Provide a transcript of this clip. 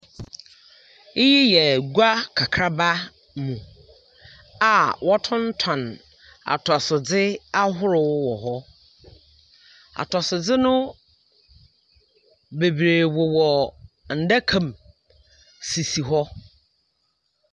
Eyi yɛ gua kakraba mu a wɔtontɔn atɔsodze ahorow wɔ hɔ. Atɔsodze no bebiree wowɔ ndakam sisi hɔ.